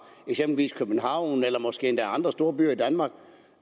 eksempelvis københavn eller måske endda andre storbyer i danmark